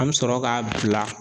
An bɛ sɔrɔ k'a bila